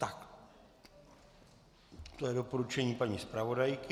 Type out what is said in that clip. Tak, to je doporučení paní zpravodajky.